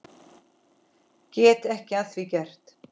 Get ekki að því gert.